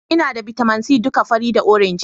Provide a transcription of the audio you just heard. Ina da bitamin c duka fari da orange